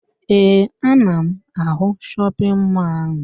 Ee, ana m ahụ shọpịn mọọ ahụ